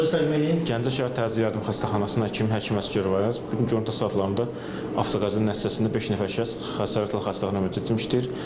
Öz təcrübəmdən Gəncə şəhər Təcili Yardım xəstəxanasında həkim Əsgər Əyyaz, bu gün gündüz saatlarında avtoqəza nəticəsində beş nəfər şəxs xəsarətlə xəstəxanaya müdətmişdir.